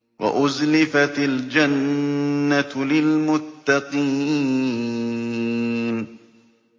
وَأُزْلِفَتِ الْجَنَّةُ لِلْمُتَّقِينَ